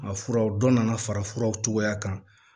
A furaw dɔ nana fara furaw cogoya kan